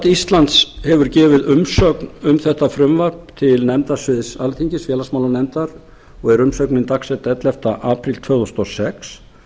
íslands hefur gefið umsögn um þetta frumvarp til nefndasviðs alþingis félagsmálanefndar og er umsögnin dagsett ellefta apríl tvö þúsund og sex